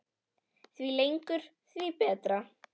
Því lengur því betra.